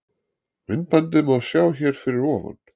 Myndbandið má sjá hér fyrir ofan.